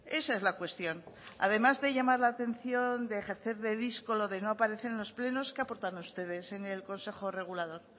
esa es la cuestión además de llamar la atención de ejercer de díscolo de no aparecer en los plenos qué aportan ustedes en el consejo regulador